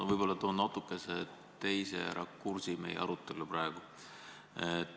Ma toon praegu võib-olla natukese teise rakursi meie arutellu.